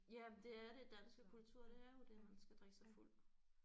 Ja men det er det danske kultur det er jo det man skal drikke sig fuld